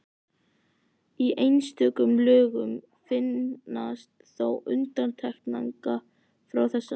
Í einstökum lögum finnast þó undantekningar frá þessu.